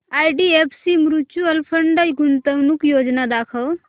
IDFC mutual fund गुंतवणूक योजना दाखव